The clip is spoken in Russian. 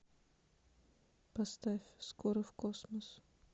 поставь скоро в космос